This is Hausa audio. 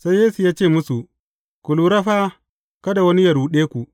Sai Yesu ya ce musu, Ku lura fa kada wani yă ruɗe ku.